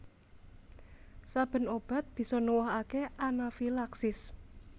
Saben obat bisa nuwuhake anafilaksis